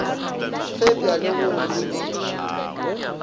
fepša le go go godišwa